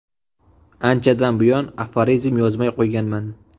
Anchadan buyon aforizm yozmay qo‘yganman.